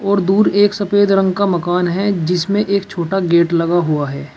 और दूर एक सफेद रंग का मकान है जिसमें एक छोटा गेट लगा हुआ है।